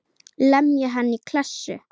Lemja hann í klessu.